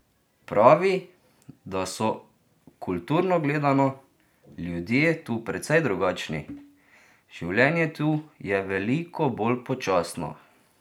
Pravi, da so, kulturno gledano, ljudje tu precej drugačni: "Življenje tu je veliko bolj počasno.